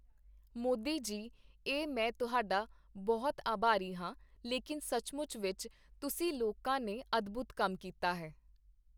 ਮੋਦੀ ਜੀ ਇਹ ਮੈਂ ਤੁਹਡਾ ਬਹੁਤ ਆਭਾਰੀ ਹਾਂ, ਲੇਕਿਨ ਸਚਮੁਚ ਵਿੱਚ ਤੁਸੀਂ ਲੋਕਾਂ ਨੇ ਅਦਭੁਤ ਕੰਮ ਕੀਤਾ ਹੈ।